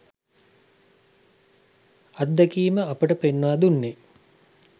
අත්දැකීම අපට පෙන්වා දුන්නේ